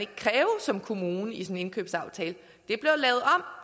som kommune ikke en indkøbsaftale